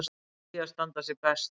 Svíar standi sig best.